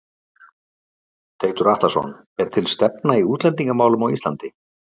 Teitur Atlason: Er til stefna í útlendingamálum á Ísland?